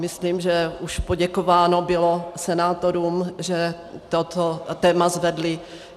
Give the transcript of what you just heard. Myslím, že už poděkováno bylo senátorům, že toto téma zvedli.